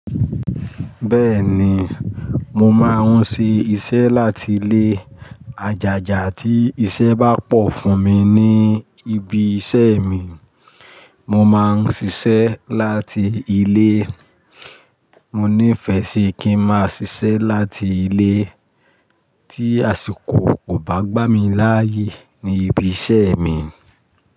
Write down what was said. Bẹ́ẹ̀ni, mo máa ń ṣe iṣẹ́ láti ilé. Àjàjà tí iṣẹ́ bá pọ̀ fún mi ní ibi iṣẹ́ mi, mo máa ń ṣiṣẹ́ láti ilé. Mo nífẹ̀ẹ́ sí kí n máa ṣiṣẹ́ láti ilé tí àsìkò kò bá gbá mi láyè ní ibi iṣẹ́ mi.